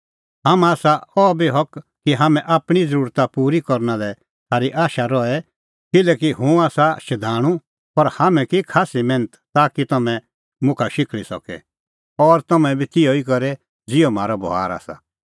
हाम्हां आसा अह बी हक कि हाम्हैं आपणीं ज़रुरता पूरी करना लै थारी आशा रहे किल्हैकि हुंह आसा शधाणूं पर हाम्हैं की खास्सी मैन्थ ताकि तम्हां लै उदाहरण बणीं सके और तम्हैं बी तिहअ ई करे ज़िहअ म्हारअ बभार आसा